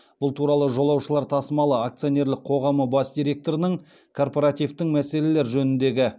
бұл туралы жолаушылар тасымалы акционерлік қоғамы бас директорының корпоративтің мәселелер жөніндегі